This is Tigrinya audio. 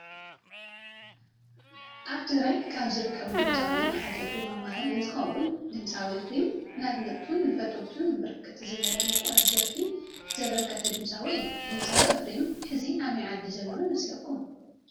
አብ ትግራይ ካብ ዝርከቡ ድምፃውያን ሓደ ኢፍሪም አማረ እንትኮን ድምፃዊ ኢፍሪም ንአድነቅቱን ንፈተዉቱን ብርክት ዝብለ ሙቁራት ደርፊ ዘበርከተ ድምፃዊ እዩ። ድምፃዊ ኢፍሪም ሕዚ አበይ ዓዲ ዘሎ ይመስለኩም?